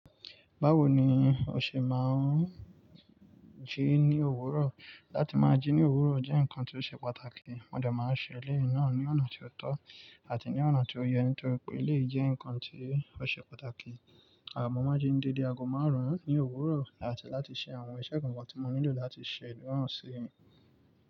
Báwo ni o ṣe máa ń jí ní òwúrọ̀? Láti máa jí ní òwúrọ̀ jẹ́ nǹkan tó ṣe pàtàkì. Mọ́ dẹ máa ń ṣe eléyìí ná ní ọ̀nà tí ó tọ́ àti ní ọ̀nà tí ó yẹ nítorí pé lé jẹ́ nǹkan tó ṣe pàtàkì. À mọ máa ń jí ni déédé ago máàrún ní òwúrọ̀ áti láti ṣe àwọn iṣẹ́ kan kan tí wọ́n nílò láti ṣẹ̀dúrànsí.